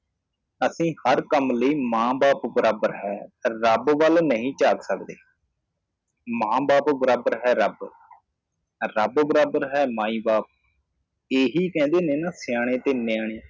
ਅਸੀ ਹਰ ਕੰਮ ਲਈ ਮਾਂ ਬਾਪ ਬਰਾਬਰ ਹੈ ਰੱਬ ਵੱਲ ਨਹੀਂ ਝਾੰਕ ਸਕਦੇ ਮਾਂ ਬਾਪ ਬਰਾਬਰ ਹੈ ਰੱਬ ਰੱਬ ਬਰਾਬਰ ਹੈ ਮਾਈ ਬਾਪ ਏਹੀ ਕਹਿੰਦੇ ਨੇ ਨਾ ਸਿਆਣੇ ਤੇ ਨਿਆਣੇ